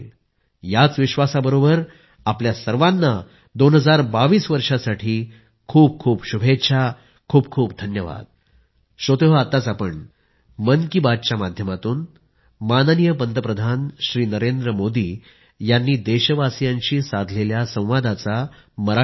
याच विश्वासाबरोबर आपल्या सर्वांना 2022 वर्षासाठी खूप खूप शुभेच्छा खूप खूप धन्यवाद